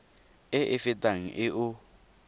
e e fetang e o